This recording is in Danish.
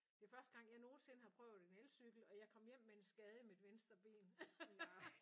Det er første gang jeg nogensinde har prøvet en elcykel og jeg kom hjem med en skade i mit venstre ben